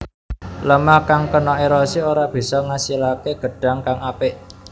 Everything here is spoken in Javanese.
Lêmah kang kena érosi ora bisa ngasilaké gedhang kang apik